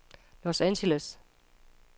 Los Angeles